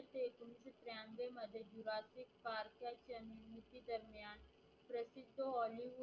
जोली